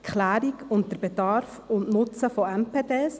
Der erste Punkt ist die Klärung des Bedarfs und des Nutzens von MPD.